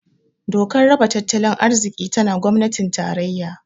Dokar raba tattalin arziki tana gwamnatin tarayya